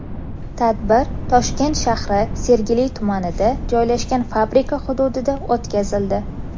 Tadbir Toshkent shahri Sergeli tumanida joylashgan fabrika hududida o‘tkazildi.